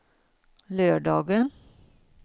lördagen